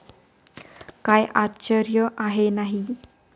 काय आश्चर्य आहे नाही?